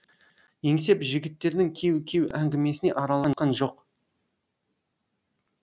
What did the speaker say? еңсеп жігіттердің кеу кеу әңгімесіне араласқан жоқ